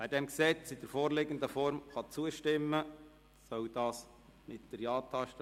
Wer diesem in der vorliegenden Form zustimmen kann, soll dies mit der Ja-Taste tun.